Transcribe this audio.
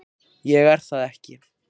Ég er það ekki.